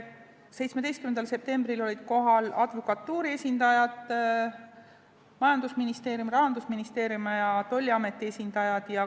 17. septembril olid kohal advokatuuri esindajad ning majandusministeeriumi, Rahandusministeeriumi ja tolliameti esindajad.